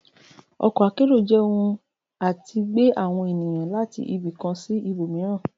Ọkọ akẹ́ro jẹ ọhún atí gbe awọn enìyan latí ibì kán sí ìbomiirán